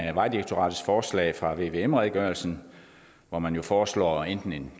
af vejdirektoratets forslag fra vvm redegørelsen hvor man jo foreslår enten en